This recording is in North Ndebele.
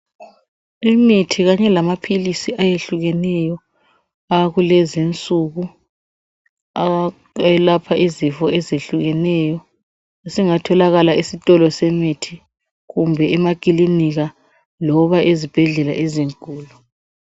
Imithi kanye lamaphilisi ayehlukeneyo akulezi insuku awelapha izifo ezehlukeneyo, isingatholakala esitolo semithi kumbe emaklinika loba ezibhedlela ezinkulu.